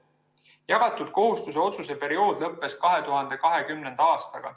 Jagatud kohustuse otsuse periood lõppes 2020. aastaga.